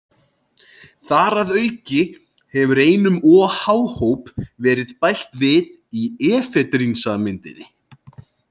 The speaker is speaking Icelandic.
Þar að auki hefur einum OH-hóp verið bætt við í efedrínsameindinni.